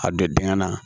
A don dengɛn na